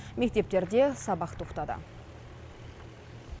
мектептерде сабақ тоқтады